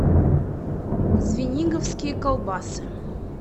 звениговские колбасы